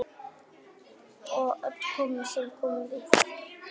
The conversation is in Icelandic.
Og öllum sem komu við.